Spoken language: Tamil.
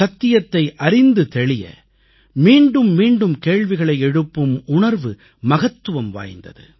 சத்தியத்தை அறிந்து தெளிய மீண்டும் மீண்டும் கேள்விகளை எழுப்பும் உணர்வு மகத்துவம் வாய்ந்தது